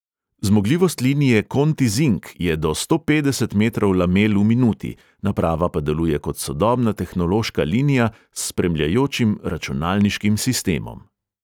Zmogljivost linije kontizink je do sto petdeset metrov lamel v minuti, naprava pa deluje kot sodobna tehnološka linija s spremljajočim računalniškim sistemom.